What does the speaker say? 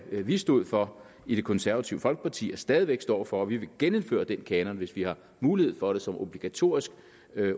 vi stod for i det konservative folkeparti og stadig væk står for og vi vil genindføre den kanon hvis vi har mulighed for det som obligatorisk